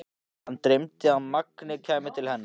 Hana dreymdi að Mangi kæmi til hennar.